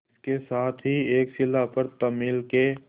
इसके साथ ही एक शिला पर तमिल के